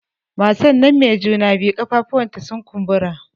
Matan nan mai juna biyu ƙafafuwan ta sun kumbura